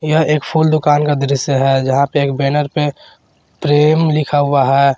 यह एक फूल दुकान का दृश्य है जहां पर एक बैनर पे प्रेम लिखा हुआ है।